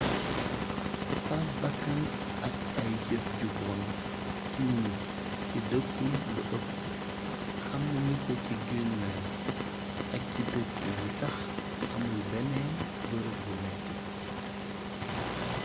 faat bakkan ak ay jeef ju bon ci gni fi deekul lu eepp xam nagnuko ci greenland ak ci deek yi sax amul bénn beereeb bu métti